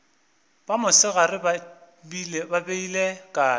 ba mosegare ba beile kae